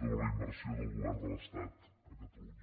sobre la inversió del govern de l’estat a catalunya